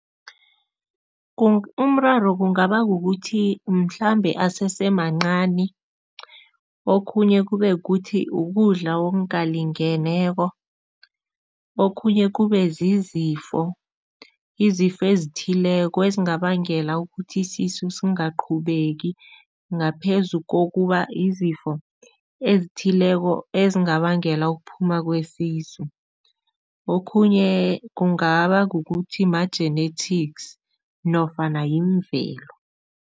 Umraro kungaba kukuthi mhlambe asesemancani. Okhunye kube kukuthi ukudla okungalingeneko, okhunye kube zizifo, izifo ezithileko ezingabangela ukuthi isisu singaqhubeki ngaphezu kokuba izifo ezithileko ezingabangela ukuphuma kwesisu. Okhunye kungaba kukuthi ma-genetics nofana yimvelo.